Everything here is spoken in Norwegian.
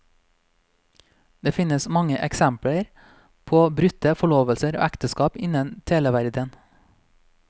Det finnes mange eksempler på brutte forlovelser og ekteskap innen televerdenen.